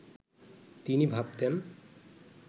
তিনি ভাবতেন